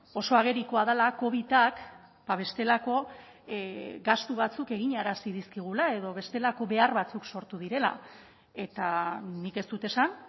oso agerikoa dela covidak bestelako gastu batzuk eginarazi dizkigula edo bestelako behar batzuk sortu direla eta nik ez dut esan